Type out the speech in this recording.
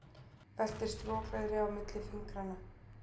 Veltir strokleðri á milli fingranna.